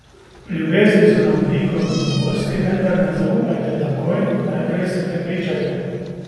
V ljubezni so na vidiku novosti, vendar ne zaupajte takoj, najprej se prepričajte.